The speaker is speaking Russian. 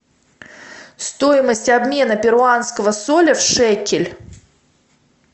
стоимость обмена перуанского соля в шекель